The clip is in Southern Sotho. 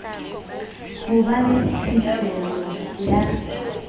ho ba le phihlelo ya